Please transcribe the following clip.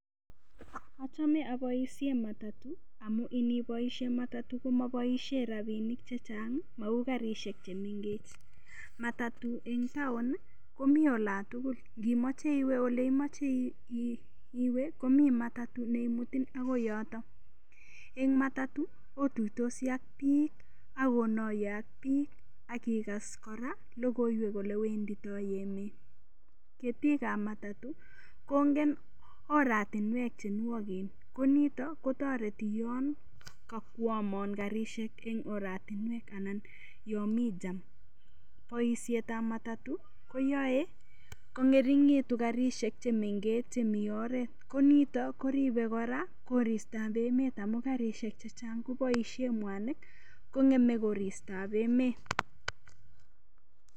Achome aboishe matatu amu iniboishe matatu komaboishe rapinik cheng' mau karishek chemengech matatu eng' taon komi olantugul ngimoche iwe ole imoche iwe komi matatu neimuton akoi yoto eng' matatu otuitosi ak biik akonoiye ak biik akikas kora lokoiwek ole wenditoi emet ketik ab matatu kongen oratinwek chenwogen ko nito kotoreti yon kakwomon karishek eng' oratinwek anan yo mi jam boishetab matatu koyoe kong'ering'itu karishek chemengech chemi oret komito koribei kora koristoab emet amun karishek chechang' koboishe mwanik kong'eme koristoab emet